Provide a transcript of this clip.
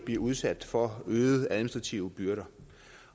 blive udsat for øgede administrative byrder